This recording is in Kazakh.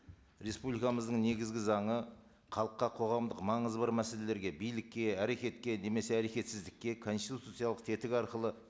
республикамыздың негізгі заңы халыққа қоғамдық маңызы бар мәселелерге билікке әрекетке немесе әрекетсіздікке конституциялық тетігі арқылы